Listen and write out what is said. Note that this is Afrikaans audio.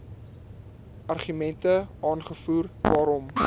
argumente aangevoer waarom